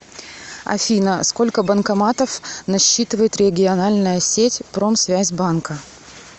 афина сколько банкоматов насчитывает региональная сеть промсвязьбанка